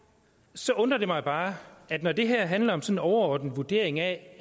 så undrer det mig bare når det handler om sådan en overordnet vurdering af